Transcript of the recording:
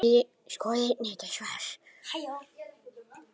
Skoðið einnig þetta svar